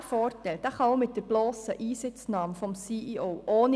Dieser Vorteil kann auch mit der blossen Einsitznahme des CEO erreicht werden.